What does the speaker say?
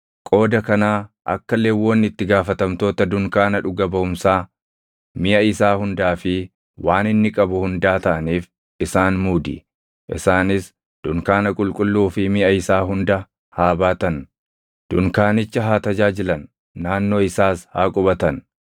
Qooda kanaa akka Lewwonni itti gaafatamtoota dunkaana dhuga baʼumsaa, miʼa isaa hundaa fi waan inni qabu hundaa taʼaniif isaan muudi. Isaanis dunkaana qulqulluu fi miʼa isaa hunda haa baatan; dunkaanicha haa tajaajilan; naannoo isaas haa qubatan.